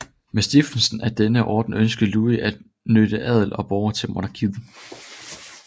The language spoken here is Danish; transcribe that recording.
Med stiftelsen af denne orden ønskede Louis at knytte adel og borgere til monarkiet